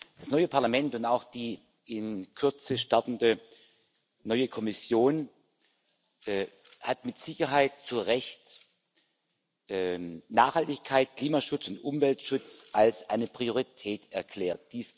Das neue Parlament und auch die in Kürze startende neue Kommission haben mit Sicherheit zu Recht Nachhaltigkeit, Klimaschutz und Umweltschutz zur Priorität erklärt.